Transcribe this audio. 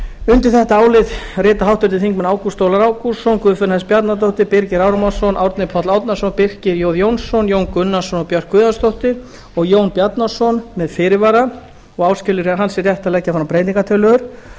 undir þetta álit rita háttvirtir þingmenn ágúst ólafur ágústsson guðfinna s bjarnadóttir birgir ármannsson árni páll árnason birkir j jónsson jón gunnarsson og björk guðjónsdóttir og jón bjarnason með fyrirvara og áskilur hann sér rétt til að leggja fram breytingartillögur